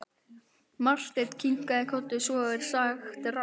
Marteinn kinkaði kolli: Svo er sagt herra.